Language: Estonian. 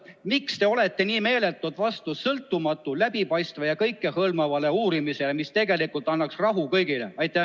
Miks te olete nii meeletult vastu sõltumatule, läbipaistvale ja kõikehõlmavale uurimisele, mis tegelikult annaks rahu kõigile?